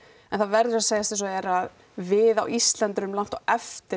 en það verður að segjast eins og er að við á Íslandi erum langt á eftir